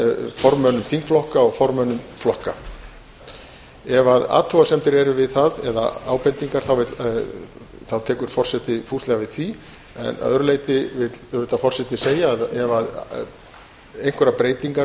formönnum þingflokka og formönnum flokka ef athugasemdir eru við það eða ábendingar tekur forseti fúslega við því en að öðru leyti vill forseti segja að ef einhverjar breytingar